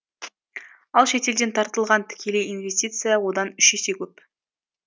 ал шетелден тартылған тікелей инвестиция одан үш есе көп